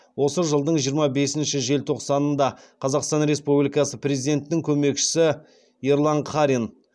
осы жылдың жиырма бесінші желтоқсанында қазақстан республикасының президентінің көмекшісі ерлан қарин